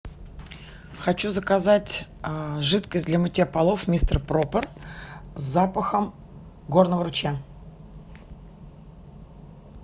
хочу заказать жидкость для мытья полов мистер пропер с запахом горного ручья